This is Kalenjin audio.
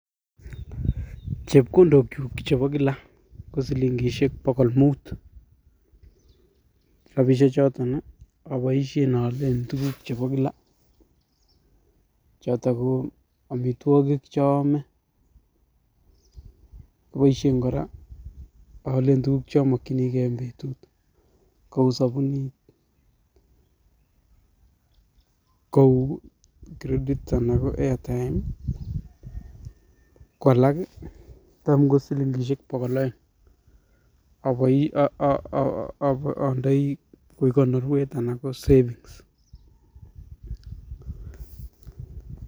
Chepkondok kyuk chebo kila kosilingisiek bogol mut, rapisiek choton oboisien oolen tuguk chebo kila choton ko amitwogik choome, oboisyen kora oolen tuguk chomokyinigee en betut kou sobunit kou credit anan ko airtime ko alak tam kosilingisiek bogol oeng akoi um ondoi koik konorwet anan ko savings